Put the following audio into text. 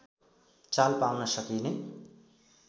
चाल पाउन सकिने